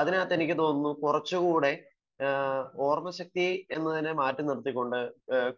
അതിനകത്തു എനിക്ക് തോന്നുന്നു കുറച്ചുകൂടെ ഓർമ്മശക്തി എന്നതിനെ മാറ്റി നിർത്തിക്കൊണ്ട്